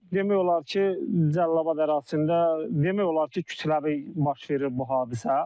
Bu demək olar ki, Cəlilabad ərazisində demək olar ki, kütləvi baş verir bu hadisə.